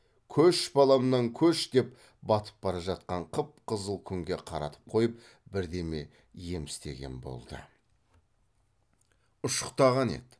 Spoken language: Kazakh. көш баламнан көш деп батып бара жатқан қып қызыл күнге қаратып қойып бірдеме ем істеген болды ұшықтағаны еді